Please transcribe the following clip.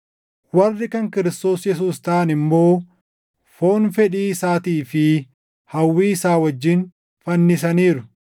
Warri kan Kiristoos Yesuus taʼan immoo foon fedhii isaatii fi hawwii isaa wajjin fannisaniiru.